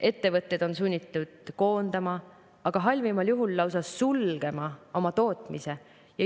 Ettevõtted on sunnitud koondama, aga halvimal juhul lausa sulgema oma tootmise.